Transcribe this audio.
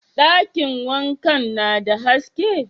Dakin wankan na da haske?